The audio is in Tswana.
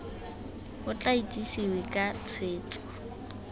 o tla itsesewe ka tshwetso